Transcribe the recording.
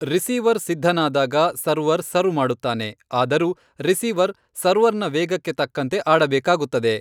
Receiver ಸಿದ್ಧನಾದಾಗ, server serve ಮಾಡುತ್ತಾನೆ, ಆದರೂ ರಿಸೀವರ್ ಸರ್ವರ್ನ ವೇಗಕ್ಕೆ ತಕ್ಕಂತೆ ಆಡಬೇಕಾಗುತ್ತದೆ.